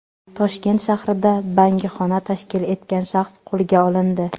Toshkent shahrida bangixona tashkil etgan shaxs qo‘lga olindi.